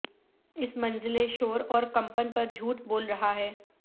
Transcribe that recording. اس منزل شور اور کمپن پر جھوٹ بول رہا ہے